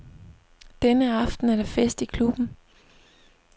Denne aften er der fest i klubben.